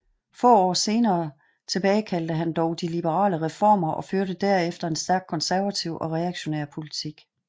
Få år senere tilbagekaldte han dog de liberale reformer og førte derefter en stærkt konservativ og reaktionær politik